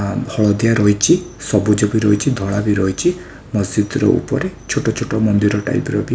ଆଁ ହଳଦିଆ ରହିଛି ସବୁଜ ବି ରହିଛି ଧଳା ବି ରହିଛି ମସଜିଦର ଉପରେ ଛୋଟ ଛୋଟ ମନ୍ଦିର ଟାଇପ୍ ର ବି --